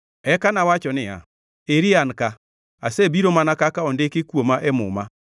Eka nawacho niya, “Eri an ka, asebiro mana kaka ondiki kuoma e Muma.